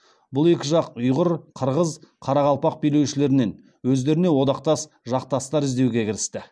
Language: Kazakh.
бұл екі жақ ұйғыр қырғыз қарақалпақ билеушілерінен өздеріне одақтас жақтастар іздеуге кірісті